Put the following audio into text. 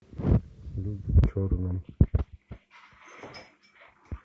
люди в черном